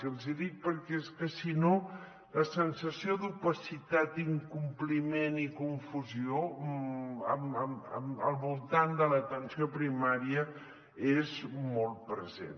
i els hi dic perquè és que si no la sensació d’opacitat incompliment i confusió al voltant de l’atenció primària és molt present